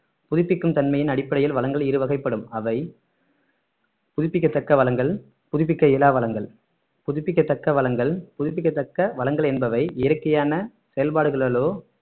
புதுப்பிக்கும் தன்மையின் அடிப்படையில் வளங்கள் இரு வகைப்படும் அவை புதுப்பிக்கத்தக்க வளங்கள் புதுப்பிக்க இயலா வளங்கள் புதுப்பிக்கத்தக்க வளங்கள் புதுப்பிக்கத்தக்க வளங்கள் என்பவை இயற்கையான செயல்பாடுகளாலோ